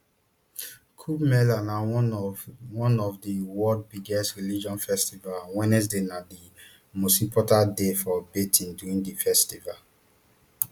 kumbh mela na one of one of di world biggest religious festivals and wednesday na di most important day for bathing during di festival